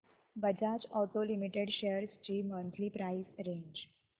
Bajaj auto limited shares ची monthly price range